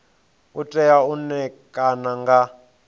u tea u ṋekana nga